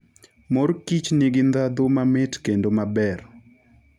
Mor kich nigi ndhadhu mamit kendo maber.